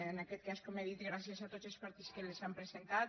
en aquest cas com he dit gràcies a tots els partits que les han presentat